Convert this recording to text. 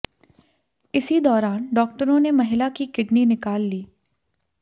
इसी दौरान डॉक्टरों ने महिला की किडनी निकाल ली